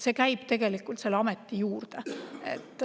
See käib selle ameti juurde.